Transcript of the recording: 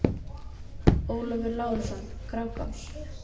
Ólafur Lárusson: Grágás